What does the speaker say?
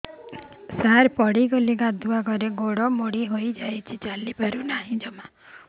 ସାର ପଡ଼ିଗଲି ଗାଧୁଆଘରେ ଗୋଡ ମୋଡି ହେଇଯାଇଛି ଚାଲିପାରୁ ନାହିଁ ଜମା